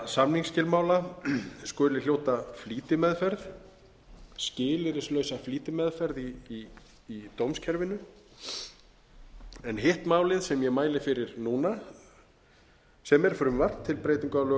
samningsskilmála skuli hljóta flýtimeðferð skilyrðislausa flýtimeðferð í dómskerfinu en hitt málið sem ég mæli fyrir núna sem er frumvarp til breytinga á lögum um